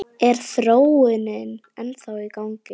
Er þróunin ennþá í gangi?